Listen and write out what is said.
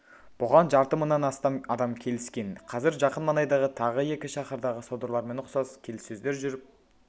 бұған жарты мыңнан астам адам келіскен қазір жақын маңайдағы тағы екі шаһардағы содырлармен ұқсас келіссөздер жүріп